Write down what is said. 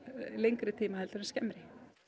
lengri tíma en skemmri